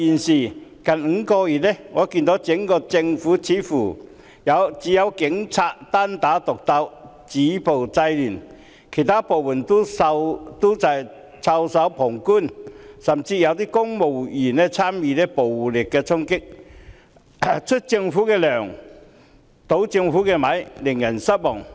但近5個月來，我看到整個政府似乎只有警察單打獨鬥，止暴制亂，其他部門均袖手旁觀，甚至有公務員參與暴力衝擊，出政府的糧，倒政府的米，令人失望。